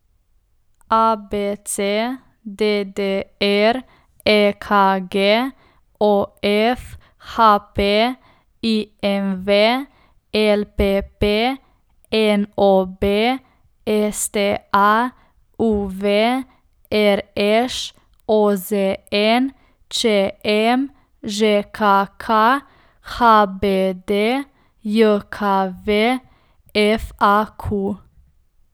ABC, DDR, EKG, OF, HP, IMV, LPP, NOB, STA, UV, RŠ, OZN, ČM, ŽKK, HBDJKV, FAQ.